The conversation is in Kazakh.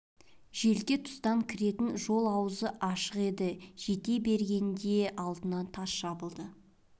желке тұстан кіретін жол аузы ашық еді жете бергенде алдынан тас жабылды